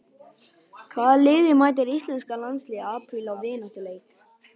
Hvaða liði mætir Íslenska landsliðið í apríl í vináttuleik?